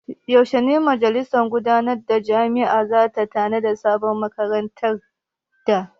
Yaushe ne majalisar gudanarwar jami’ar za ta nada sabon magatakarda?